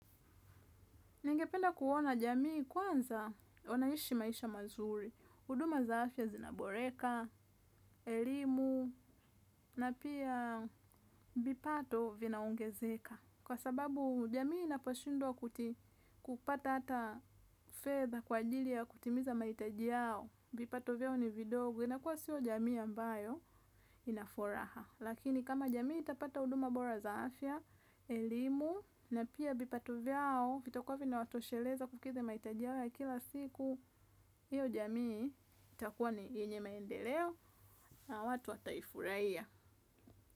Ningependa kuona jamii kwanza wanaishi maisha mazuri, huduma za afya zinaboreka, elimu, na pia vipato vinaongezeka. Kwa sababu jamii inaposhindwa kupata hata fedha kwa ajili ya kutimiza mahitaji yao, vipato vyao ni vidogo, inakuwa sio jamii ambayo inafuraha. Lakini kama jamii itapata huduma bora za afya, elimu, na pia vipato vyao vitakuwa vinawatosheleza kukidhii mahitaji yao ya kila siku hiyo jamii itakuwa ni yenye maendeleo na watu wataifurahia.